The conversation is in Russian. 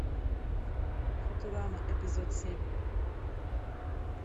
футурама эпизод семь